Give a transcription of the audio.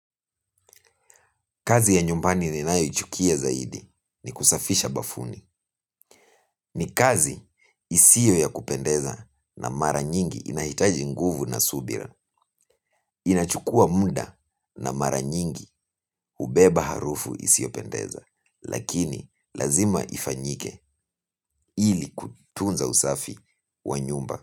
Kazi ya nyumbani ninayoichukia zaidi ni kusafisha bafuni. Ni kazi isio ya kupendeza na mara nyingi inahitaji nguvu na subira. Inachukua muda na mara nyingi ubeba harufu isio pendeza. Lakini lazima ifanyike ili kutunza usafi wa nyumba.